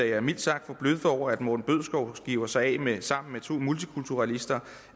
jeg mildt sagt forbløffet over at morten bødskov giver sig af med sammen med to multikulturalister